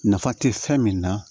Nafa tɛ fɛn min na